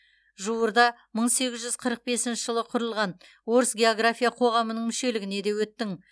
жуырда мың сегіз жүз қырық бесінші жылы құрылған орыс география қоғамының мүшелігіне де өттің